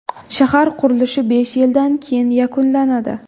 Shahar qurilishi besh yildan keyin yakunlanadi.